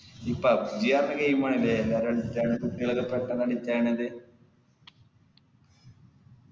ഈ pubg ആടത്തെ game ആല്ലേ കുട്ടികളൊക്കെ പെട്ടന്ന് addict ആകണത്